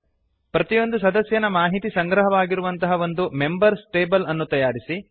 ಪ್ರತಿಯೊಂದು ಸದಸ್ಯನ ಮಾಹಿತಿ ಸಂಗ್ರಹವಾಗಿರುವಂತಹ ಒಂದು ಮೆಂಬರ್ಸ್ ಟೇಬಲ್ ಅನ್ನು ತಯಾರಿಸಿ